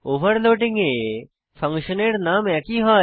overloading এ ফাংশনের নাম একই হয়